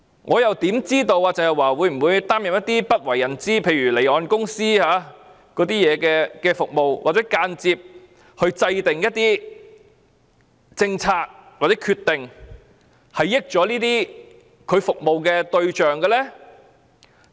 我又怎知道鄭若驊會否擔任一些不為人知，例如為離岸公司提供的服務，或間接制訂一些政策或決定，讓她服務的對象得益？